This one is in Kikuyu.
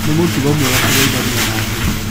Nĩ mũtugo mwega kũgeithania na andũ.